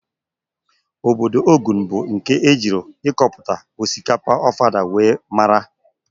Ọbọdọ Ogun bụ nke ejiri ịkọpụta osikapa Ofada wee maara.